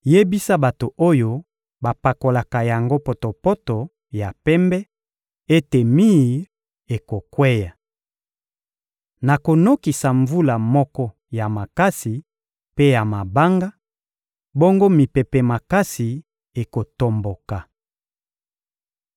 yebisa bato oyo bapakolaka yango potopoto ya pembe ete mir ekokweya. Nakonokisa mvula moko ya makasi mpe ya mabanga, bongo mipepe makasi ekotomboka.